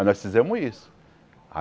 Aí nós fizemos isso.